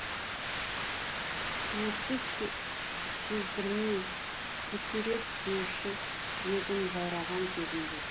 суықты сездірмей көтерер деуші едім жаураған кезімде